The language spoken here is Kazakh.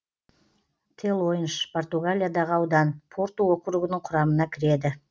телойнш португалиядағы аудан порту округінің құрамына кіреді